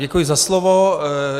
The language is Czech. Děkuji za slovo.